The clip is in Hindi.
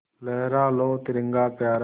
लहरा लो तिरंगा प्यारा